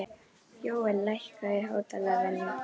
Jóel, lækkaðu í hátalaranum.